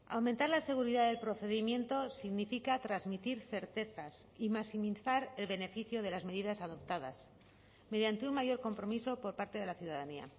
aumentar la seguridad del procedimiento significa transmitir certezas y maximizar el beneficio de las medidas adoptadas mediante un mayor compromiso por parte de la ciudadanía